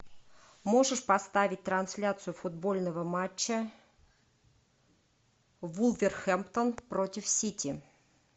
можешь поставить трансляцию футбольного матча вулверхэмптон против сити